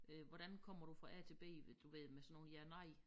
Øh hvordan kommer du fra A til B ved du ved med sådan nogle ja nej